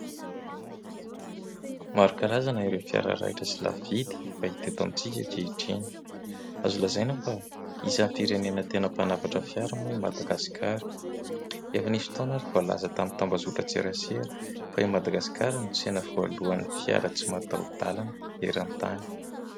Maro karazana ireo fiara raitra sy lafo vidy efa hita eto amintsika ankehitriny. Azo lazaina fa isan'ny firenena tena mpanafatra fiara moa i Madagasikara. Efa nisy fotoana ary voalaza tamin'ny tambazotra tserasera fa i Madagasikara no tsena voalohany fiara tsy mataho-dalana eran-tany.